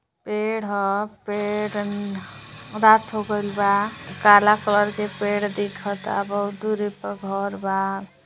पेड़ ह पेड़ रात हो गईल बा काला कलर का पेड़ दिखत हा बहोत दूरी पर घर बा --